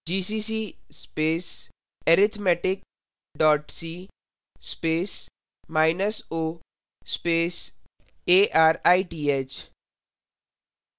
gcc space arithmetic dot c space minus o space arith